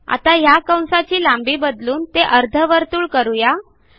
आता ह्या कंसाची लांबी बदलून ते अर्धवर्तुळ करू या